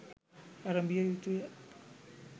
ඇරඹිය යුතුය.